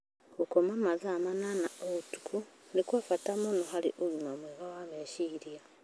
Gũkoma mathaa manana o ũtukũ nĩ kwa bata mũno harĩ ũgima mwega wa meciria.